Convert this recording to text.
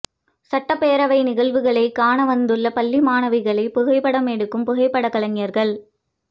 சட்டப் பேரவை நிகழ்வுகளை காண வந்துள்ள பள்ளி மாணவிகளை புகைப்படம் எடுக்கும் புகைப்படக்கலைஞர்கள்